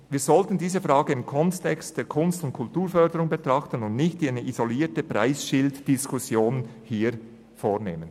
Wir sollten diese Frage im Kontext der Kunst- und Kulturförderung betrachten und hier nicht eine isolierte Preisschilddiskussion führen.